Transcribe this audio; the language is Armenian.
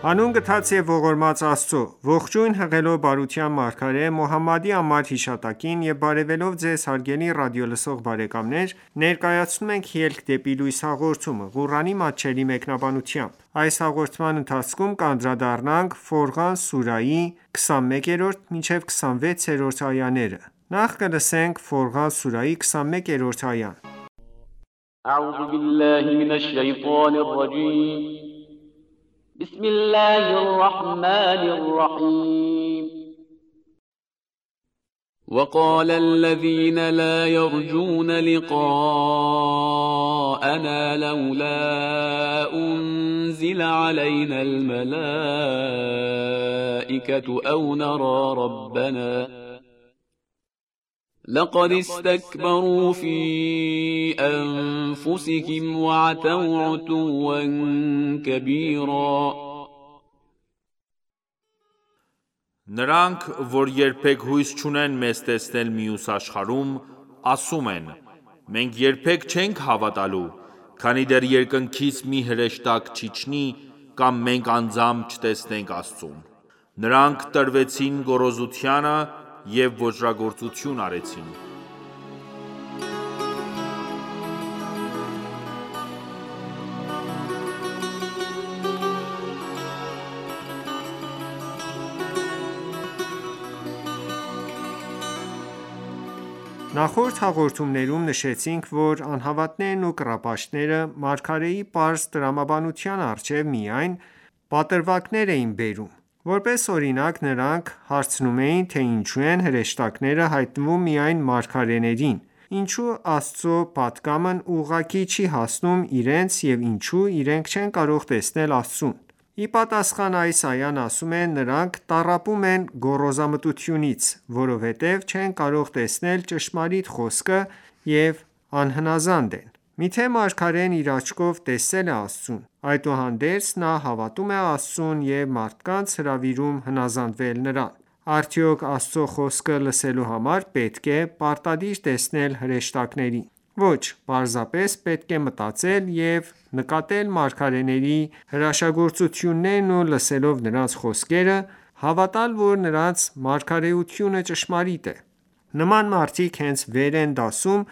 Հանուն գթած և ողորմած Աստծո:Ողջույն հղելով բարության մարգարե Մոհամմադի անմար հիշատակին եւ բարեւելով Ձեզ հարգելի ռադիոլսող բարեկամներ ներկայացնում ենք «Ելք դեպի լույս» հաղորդումը, Ղուրանի մատչելի մեկնաբանությամբ: Ֆորղան սուրաhի 21-րդ այա Նրանք, որ երբեք հույս չունեն մեզ տեսնել մյուս աշխարհում, ասում են. Մենք երբեք չենք հավատալու, քանի դեռ երկնքից մի հրեշտակ չիջնի, կամ մենք անձամբ չտեսնենք Աստծուն: Նրանք տրվեցին գոռոզությանը և ոճրագործություն արեցին: Նախորդ հաղորդումներում նշեցինք, որ անհավատներն ու կռապաշտները, մարգարեի պարզ տրամաբանության առջև միայն պատրվակներ էին բերում: Որպես օրինակ, նրանք հարցնում էին, թե ինչո՞ւ են հրեշտակները հայտնվում միայն մարգարեներին, ինչո՞ւ Աստծո պատգամն ուղղակի չի հասնում իրենց և ինչո՞ւ իրենք չեն կարող տեսնել Աստծուն: Ի պատասխան, այս այան ասում է. «Նրանք տառապում են գոռոզամտությունից, որովհետև չեն կարող տեսնել ճշմարիտ խոսքը և անհնազանդ են: Մի՞թե մարգարեն իր աչքով տեսել է Աստծուն: Այդուհանդերձ, նա հավատում է Աստծուն և մարդկանց հրավիրում հնազանդվել Նրան: Արդյո՞ք Աստծո խոսքը լսելու համար պետք է պարտադիր տեսնել հրեշտակներին: Ոչ, պարզապես պետք է մտածել և նկատելով մարգարեների հրաշագործություններն ու լսելով նրանց խոսքերը, հավատալ որ նրանց մարգարեությունը ճշմարիտ է»: Նման մարդիկ իրենց վեր են դասում